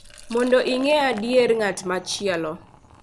Mondo ing’e adier ng’at machielo, .